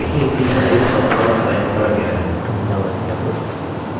तो आप देखेंगे कि headings का font size बढ़ गया है